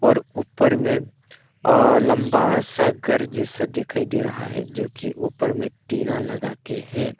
और ऊपर में अ लंबा सा घर जैसा दिखाई दे रहा है जोकि ऊपर में टीना लगाके है।